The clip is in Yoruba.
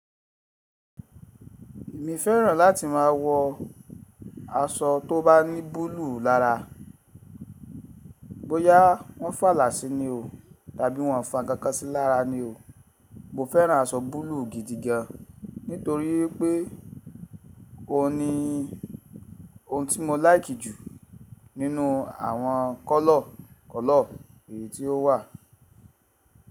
Èmi fẹ́ràn láti máa wọ aṣọ tó bá ní búlúù lára. Bóyá wọ́n fàlà sí ní o tàbí wọ́n ò fàkankan sí lára ni o, mo fẹ́ràn aṣọ búlúù gidigan nítori wípé ó ní ohun tí mo láìkì jù nínú àwọn kọ́lọ̀ kọ́lọ̀ èyí tó wà.